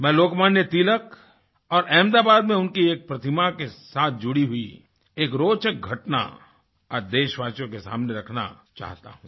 मैं लोकमान्य तिलक और अहमदाबाद में उनकी एक प्रतिमा के साथ जुड़ी हुई एक रोचक घटना आज देशवासियों के सामने रखना चाहता हूँ